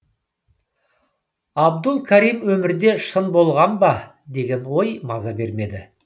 абдул карим өмірде шын болған ба деген ой маза бермеді